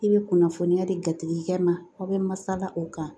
I bɛ kunnafoniya di jatigikɛ ma aw bɛ masala o kan